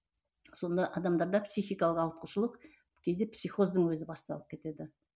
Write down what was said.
сонда адамдарда психикалық ауытқушылық кейде психоздың өзі басталып кетеді